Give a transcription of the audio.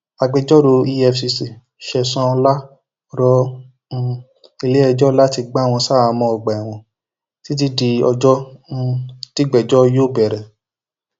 agbẹjọrò efcc sesan ọlá rọ um iléẹjọ láti gbà wọn ṣaháàmọ ọgbà ẹwọn títí di ọjọ um tígbẹjọ yóò bẹrẹ